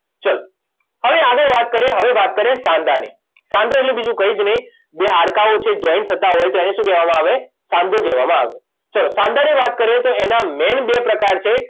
ચલો હવે આગળ વાત કરીએ હવે વાત કરીએ સાંધાની સાંધો એટલે બીજું કંઇ જ નહીંં બે હાડકાંઓ છે જોઇન્ટ થતાં હોય ત્યારે શું કહેવામાં આવે સાંધો કહેવામાં આવે ચલો સાંધાની વાત કરીએ તો એના મેઇન બે પ્રકાર છે